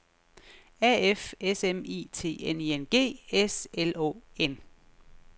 A F S M I T N I N G S L Å N